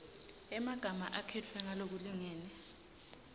emagama akhetfwe ngalokulingene